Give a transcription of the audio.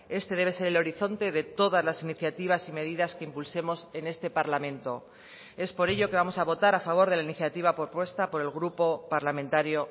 este debe ser el horizonte de todas las iniciativas y medidas que impulsemos en este parlamento es por ello que vamos a votar a favor de la iniciativa propuesta por el grupo parlamentario